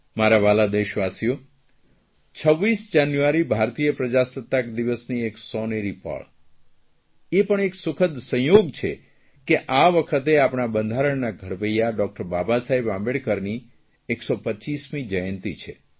મારા વ્હાલા દેશવાસીઓ 26 જાન્યુઆરી ભારતીય પ્રજાસત્તાક દિવસની એક સોનેરી પળ એ પણ એક સુખદ સંયોગ છે કે આ વખતે આપણા બંધારણના ઘડવૈયા ડૉકટર બાબા સાહેબ આંબેડકરની 125મી જયંતી છે